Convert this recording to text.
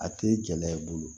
A tɛ gɛlɛya i bolo